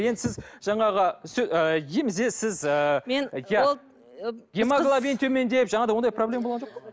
енді сіз жаңағы ыыы емізесіз ы мен гемоглобин төмендеп жаңағыдай ондай проблема болған жоқ па